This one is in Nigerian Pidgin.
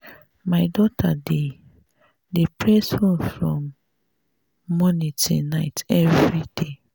my daughter dey dey press phone from morning till night everyday